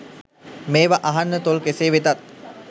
මේවා අහන්න තොල් කෙසේ වෙතත්